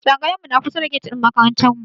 Tsangayar mu na kusa da get ɗin makarantar.